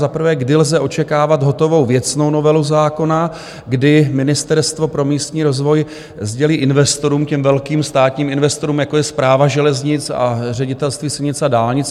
Za prvé, kdy lze očekávat hotovou věcnou novelu zákona, kdy Ministerstvo pro místní rozvoj sdělí investorům, těm velkým státním investorům, jako je Správa železnic a Ředitelství silnic a dálnic.